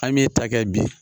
An m'e ta kɛ bi